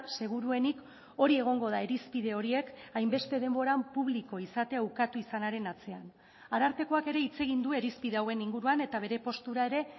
seguruenik hori egongo da irizpide horiek hainbeste denboran publiko izatea ukatu izanaren atzean arartekoak ere hitz egin du irizpide hauen inguruan eta bere postura ere